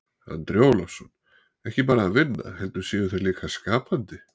Andri Ólafsson: Ekki bara að vinna heldur séu þeir líka skapandi?